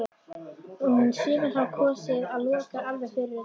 En sumir hafa kosið að loka alveg fyrir þetta.